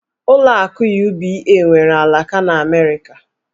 Ụlọ akụ UBA nwere alaka n'Amerịka